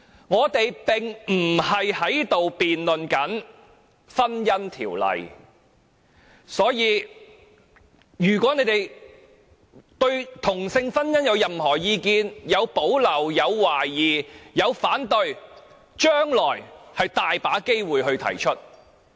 我們並非辯論《婚姻條例》，如果他們對同性婚姻有任何意見，不論是有保留、有懷疑或反對，將來還有很多機會可以提出。